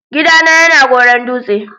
Gida na ya na Goron-Dutse.